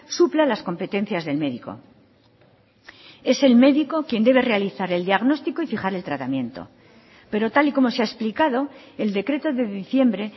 supla las competencias del médico es el médico quien debe realizar el diagnóstico y fijar el tratamiento pero tal y como se ha explicado el decreto de diciembre